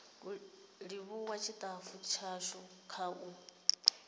livhuwa tshitafu tshashu kha u